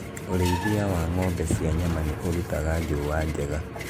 ũrĩithia wa ng'ombe cia nyama nĩ ũrutaga njũũa njega